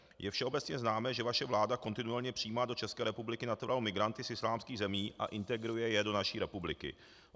Je všeobecně známé, že vaše vláda kontinuálně přijímá do České republiky natural migranty z islámských zemí a integruje je do naší republiky.